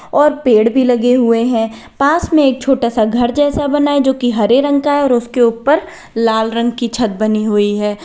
और पेड़ भी लगे हुए हैं पास में एक छोटा सा घर जैसा बना जो कि हरे रंग का है और उसके ऊपर लाल रंग की छत बनी हुई है।